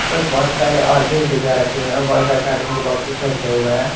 इस पर बहुत सारे और भी डिबिया रखी हुई हैं और बहुत सारे कार्टून के बॉक्सेस रखे हुए हैं।